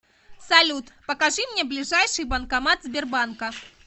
салют покажи мне ближайший банкомат сбербанка